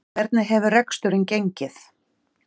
Hvernig hefur reksturinn gengið?